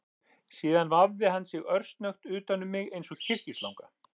Síðan vafði hann sig örsnöggt utan um mig eins og kyrkislanga